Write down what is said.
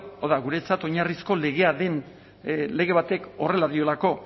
hau da guretzat oinarrizko legea den lege batek horrela diolako